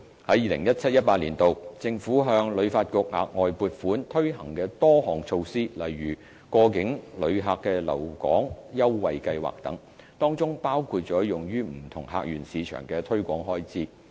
在 2017-2018 年度，政府向旅發局額外撥款推行的多項措施，例如過境旅客留港優惠計劃等，當中包括了用於不同客源市場的推廣開支。